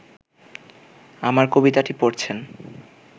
আমার কবিতাটি পড়ছেন